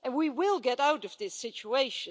And we will get out of this situation.